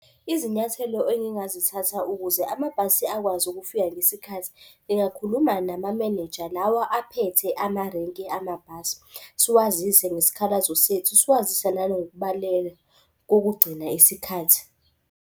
Izinyathelo engingazithatha ukuze amabhasi akwazi ukufika ngesikhathi, ngingakhuluma namamenenja lawa aphethe amarenki amabhasi, siwazise ngesikhalazo sethu. Siwazise nangokubaleka kokugcina isikhathi.